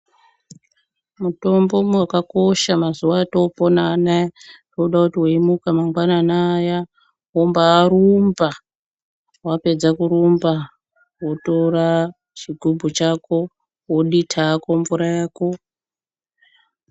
Mutombo wakakosha mazuwa atopona anaya zvoda kuti weimuka mangwanani aya wombarumba wapedza kurumba wotora chigubhu chako wodita hako mvura yako.